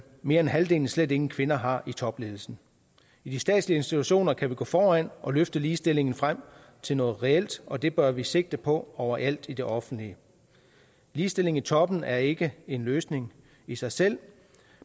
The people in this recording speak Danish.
mere end halvdelen slet ingen kvinder har i topledelsen i de statslige institutioner kan vi gå foran og løfte ligestillingen frem til noget reelt og det bør vi sigte på overalt i det offentlige ligestilling i toppen er ikke en løsning i sig selv